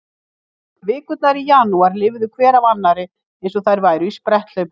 Vikurnar í janúar liðu hver af annarri eins og þær væru í spretthlaupi.